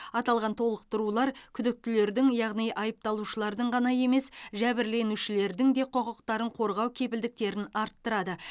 аталған толықтырулар күдіктілердің яғни айыпталушылардың ғана емес жәбірленушілердің де құқықтарын қорғау кепілдіктерін арттырады